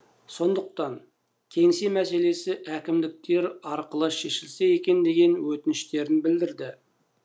сондықтан кеңсе мәселесі әкімдіктер арқылы шешілсе екен деген өтініштерін білдірді